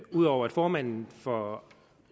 ud over at formanden for